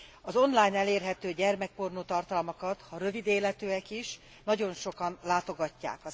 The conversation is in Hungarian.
Az online elérhető gyermekpornó tartalmakat ha rövid életűek is nagyon sokan látogatják.